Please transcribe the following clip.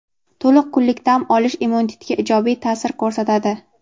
To‘liq kunlik dam olish immunitetga ijobiy ta’sir ko‘rsatadi.